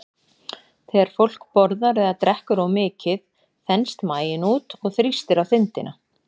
Þegar fólk borðar eða drekkur of mikið þenst maginn út og þrýstir á þindina.